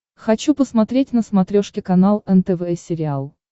хочу посмотреть на смотрешке канал нтв сериал